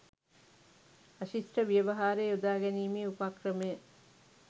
අශිෂ්ට ව්‍යවහාරය යොදාගැනීමේ උපක්‍රමය